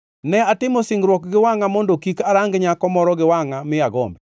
“Ne atimo singruok gi wangʼa mondo kik arang nyako moro gi wangʼa mi agombi.